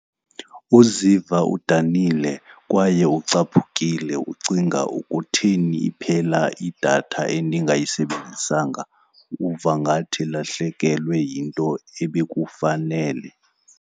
Uziva udanile kwaye ucaphukile ucinga kutheni iphela idatha endingayisebenzisanga. Uva ngathi ulahlekelwe yinto ebekufanele.